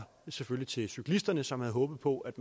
selvfølgelig til cyklisterne som havde håbet på at